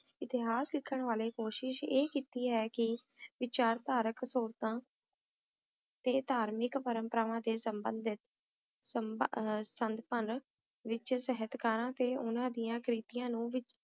Etihad ਨੇ ਤੁਹਾਡੀਆਂ ਅੱਖਾਂ ਦੀ ਦੇਖਭਾਲ ਕਰਨ ਦੀ ਕੋਸ਼ਿਸ਼ ਕੀਤੀ